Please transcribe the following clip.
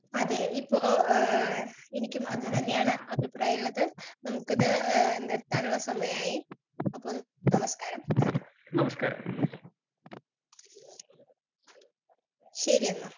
Speaker 2 അതെ ഇപ്പൊ ഏഹ് എനിക്കും അതുതന്നെയാണ് അഭിപ്രായള്ളത് നമ്മുക്കിത് ഏഹ് നിർത്താനുള്ള സമയായി അപ്പോൾ നമസ്കാരം നന്ദി ശരിയെന്ന.